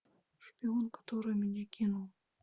шпион который меня кинул